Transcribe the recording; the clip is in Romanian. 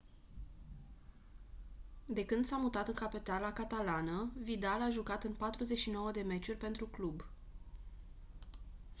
de când s-a mutat în capitala catalană vidal a jucat în 49 de meciuri pentru club